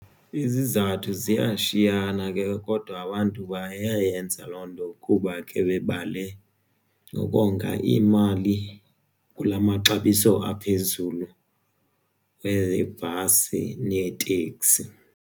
Izizathu ziyashiyana ke kodwa abantu bayayenza loo nto kuba ke bebale ukonga imali kula maxabiso aphezulu webhasi neeteksi.